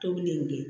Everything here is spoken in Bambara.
Tobili in kɛ